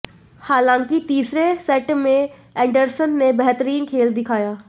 हालाँकि तीसरे सेट में एंडरसन ने बेहतरीन खेल दिखाया